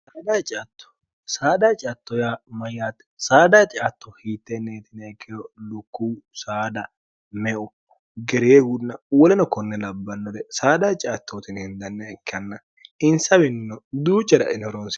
saadha ciattoy mayyaate saada ciatto hiittenneetine ekkeho lukkuu saada meo ge'reehunna wolino konne labbannore saada ciattootini hindanna ikkanna insawiinno duuccarainohoroho